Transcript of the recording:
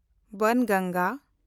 ᱵᱟᱝᱜᱟᱝᱜᱟ